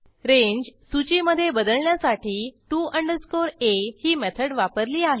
range सूचीमधे बदलण्यासाठी to a ही मेथड वापरली आहे